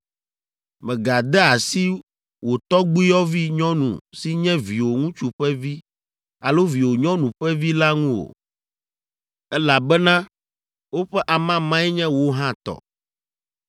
“ ‘Mègade asi wò tɔgbuiyɔvi nyɔnu si nye viwò ŋutsu ƒe vi alo viwò nyɔnu ƒe vi la ŋu o, elabena woƒe amamae nye wò hã tɔ.